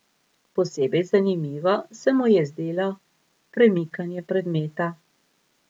Posebej zanimivo se mu je zdelo premikanje predmeta.